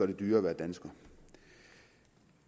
det dyrere at være dansker